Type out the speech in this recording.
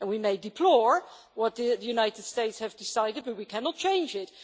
We may deplore what the United States has decided, but we cannot change it.